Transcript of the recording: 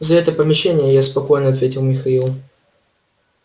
за это помещение я спокоен ответил михаил